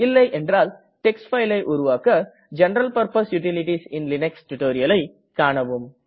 இல்லை என்றால் டெக்ஸ்ட் fileஐ உருவாக ஜெனரல் பர்ப்போஸ் யூட்டிலிட்டீஸ் இன் லினக்ஸ் tutorialஐ கானவும்